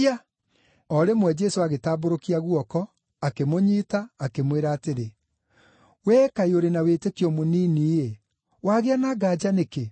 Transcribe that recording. O rĩmwe, Jesũ agĩtambũrũkia guoko, akĩmũnyiita, akĩmwĩra atĩrĩ, “Wee kaĩ ũrĩ na wĩtĩkio mũnini-ĩ! Wagĩa na nganja nĩkĩ?”